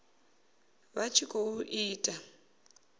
vha tshi khou i ita